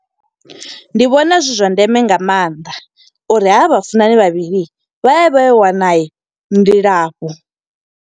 Ndi vhona zwi zwa ndeme nga maanḓa, uri ha vha vhafunani vhavhili, vha ye vha yo wana ndilafho.